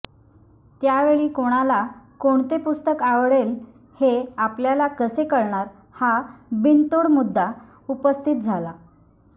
त्यावेळी कोणाला कोणते पुस्तक आवडेल हे आपल्याला कसे कळणार हा बिनतोड मुद्दा उपस्थित झाला